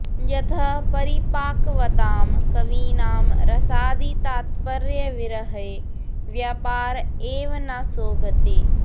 यतः परिपाकवतां कवीनां रसादितात्पर्यविरहे व्यापार एव न शोभते